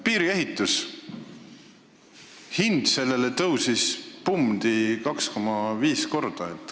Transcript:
Piiriehituse hind tõusis põmdi 2,5 korda.